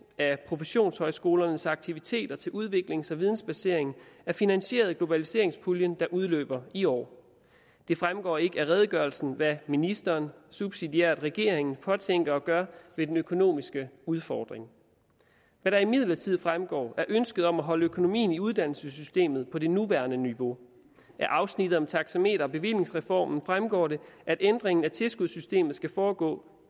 af professionshøjskolernes aktiviteter til udviklings og vidensbasering er finansieret af globaliseringspuljen der udløber i år det fremgår ikke af redegørelsen hvad ministeren subsidiært regeringen påtænker at gøre ved den økonomiske udfordring hvad der imidlertid fremgår er ønsket om at holde økonomien i uddannelsessystemet på det nuværende niveau af afsnittet om taxameter og bevillingsreformen fremgår det at ændringen af tilskudssystemet skal foregå